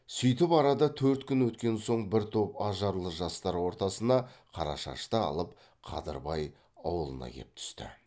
сүйтіп арада төрт күн өткен соң бір топ ажарлы жастар ортасына қарашашты алып қадырбай аулына кеп түсті